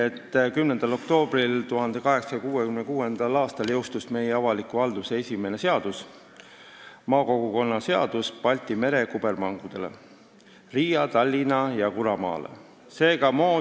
1. oktoobril 1866. aastal jõustus meie avaliku halduse esimene seadus, maakogukonna seadus Balti mere kubermangudele ehk Riia, Tallinna ja Kuramaa kubermangule.